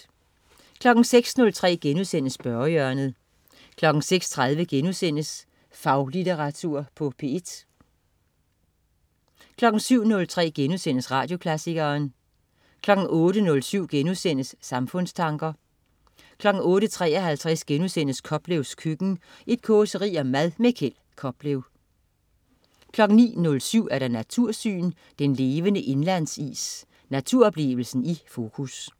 06.03 Spørgehjørnet* 06.30 Faglitteratur på P1* 07.03 Radioklassikeren* 08.07 Samfundstanker* 08.53 Koplevs køkken. Et causeri om mad. Kjeld Koplev 09.07 Natursyn. Den levende indlandsis. Naturoplevelsen i fokus